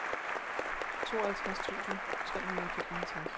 tooghalvtreds tusind tre hundrede og femoghalvtreds